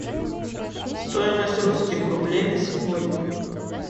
стоимость русских рублей на сегодня